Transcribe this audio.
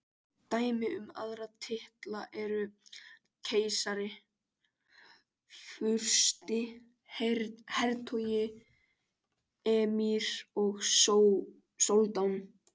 Dæmi um aðra titla eru keisari, fursti, hertogi, emír og soldán.